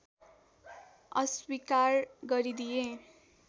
अस्वीकार गरिदिए